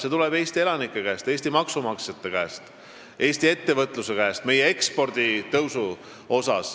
See tuleb Eesti elanike käest, Eesti maksumaksjate käest, Eesti ettevõtluse käest, see tuleb meie ekspordi suurenemise tõttu.